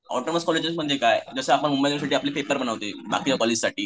autonomous college म्हणजे काय जसे आपण मुंबई पेपर बनवते कॉलेज साठी